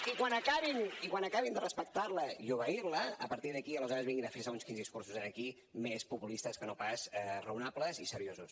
i quan acabin de respectar la i obeir la a partir d’aquí aleshores vinguin a fer no sé quins discursos aquí més populistes que no pas raonables i seriosos